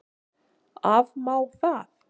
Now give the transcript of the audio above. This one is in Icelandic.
Afmá það?